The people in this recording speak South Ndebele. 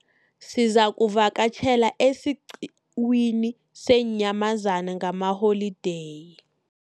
Sizakuvakatjhela esiqhiwini seenyamazana ngalamaholideyi.